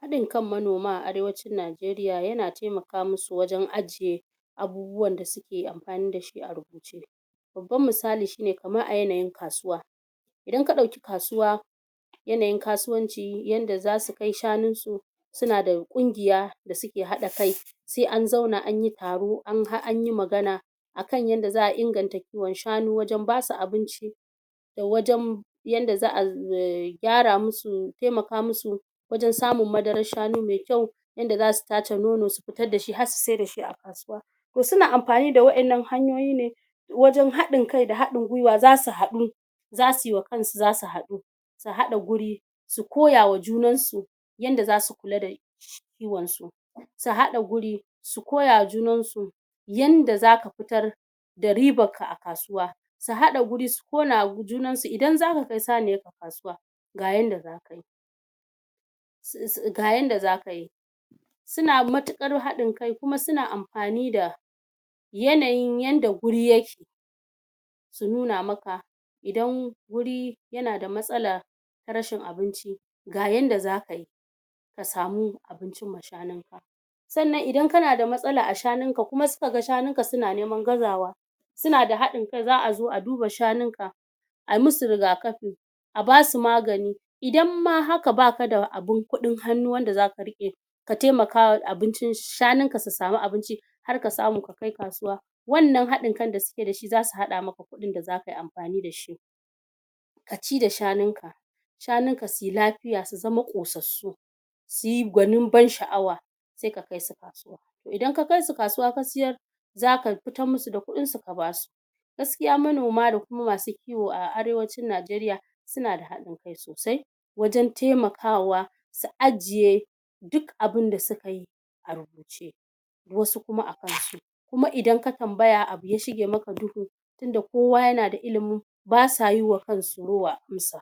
haɗin kan manoma a arewacin Najeriya yana temaka mu su wajen ajiye abubuwan da suke amfani da shi a rubuce babbar misali shine kamar a yanayin kasuwa idan ka ɗauki kasuwa yanayin kasuwanci yanda zasu kai shanun su suna da ƙungiya da suke haɗa kai se an zauna an yi taro an yi magana akan yadda za'a inganta kiwon shanu wajen basu abinci da wajen yanda za'a gyara mu su, temaka mu su wajen samun madarar shanu me kyau yanda zasu tace nono su fitar da shi har su siyar da shi a kasuwa to suna mafani da waɗannan hanyoyi ne wajen haɗin kai da haɗin gwiwa zasu haɗu zasu yi wa kansu zasu haɗu su haɗa guri su koya wa junan su yanda zasu kula da kiwon su su haɗa guri su koya wa junan su yanda zaka fitar da ribarka a kasuwa su haɗa guri su koya wa junan su idan zaka kai saniyar ka kasuwa ga yanda zaka yi ga yanda zaka yi suna matuƙar haɗin kai kuma suna amfani da yanayin yadda guri yake su nuna maka idan wuri yana da matsala rashin abinci ga yanda zaka yi ka samu abincin ma shanun ka sannan idan kana da matsala a shanun ka kuma suka ga shanun ka suna neman gazawa suna da haɗin kai za'a zo a duba shanun ka ayi musu rigakafi a basu magani idan ma haka baka da abun kuɗin hannu wanda zaka riƙe shanun ka su samu abinci har ka samu ka kai kasuwa wannan haɗin kai da suke da shi zasu haɗa maka kuɗin da zaka yi amfani da shi ka ci da shanun ka shanun ka suyi lafiya su zama ƙosassu suyi gwanin ban sha'awa se ka kai su kasuwa idan ka kai su kasuwa ka siyar zaka fitar musu da kuɗin su ka basu gaskiya manoma da kuma masu kiwo a arewacin Najeriya suna da haɗin kai sosai wajen temakawa su ajiye duk abunda suka yi a rubuce wasu kuma a kan su kuma idan ka tambaya abu ya shige maka duhu tunda kowa yana da ilimin ba sa yi wa kansu rowa in sa